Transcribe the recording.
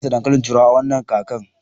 Ina dasa dankalin turawa a wannan kakar